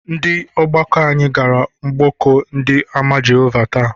Ndị ọgbakọ anyị gara mgbọkọ ndị àmà Jehovah taa.